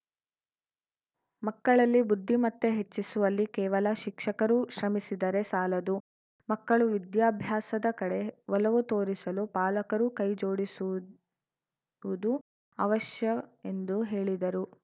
ಮಕ್ಕಳಲ್ಲಿ ಬುದ್ಧಿಮತ್ತೆ ಹೆಚ್ಚಿಸುವಲ್ಲಿ ಕೇವಲ ಶಿಕ್ಷಕರು ಶ್ರಮಿಸಿದರೆ ಸಾಲದು ಮಕ್ಕಳು ವಿದ್ಯಾಭ್ಯಾಸದ ಕಡೆ ಒಲವು ತೋರಿಸಲು ಪಾಲಕರೂ ಕೈಜೋಡಿಸುವುದು ಅವಶ್ಯ ಎಂದು ಹೇಳಿದರು